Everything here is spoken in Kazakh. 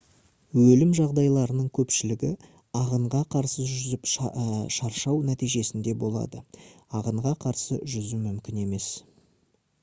өлім жағдайларының көпшілігі ағынға қарсы жүзіп шаршау нәтижесінде болады ағынға қарсы жүзу мүмкін емес